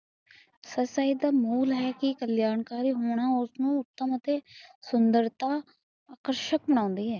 ਫਸਾਈ ਦਾ ਮੁੱਲ ਹੈ ਕਿ ਕਲਿਆਣਕਰੀ ਹੋਣਾ ਉਸਨੂੰ ਉਤਮ ਅੱਤੇ ਸੁਦਰਤਾ ਕੁਸਕ ਮਨਾਉਂਦੀ ਹੈ